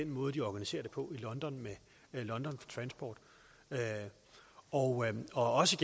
måde de organiserer det på i london med london for transport og også